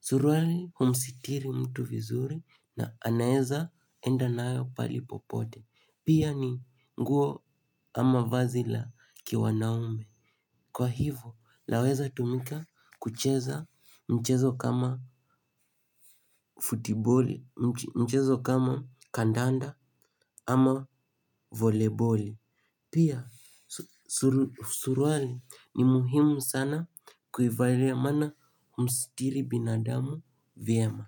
Suruali humsitiri mtu vizuri na anaeza enda nayo pahali popote. Pia ni nguo ama vazi la kiwanaume. Kwa hivyo laweza tumika kucheza mchezo kama futiboli, mchezo kama kandanda ama voleboli. Pia, suruali ni muhimu sana kuivailia maana humstiri binadamu vyema.